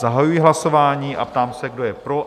Zahajuji hlasování a ptám se, kdo je pro?